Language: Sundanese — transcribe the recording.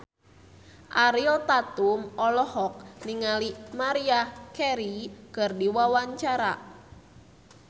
Ariel Tatum olohok ningali Maria Carey keur diwawancara